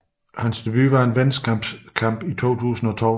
Hans debut var en venskabskamp i 2012